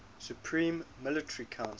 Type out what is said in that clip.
supreme military council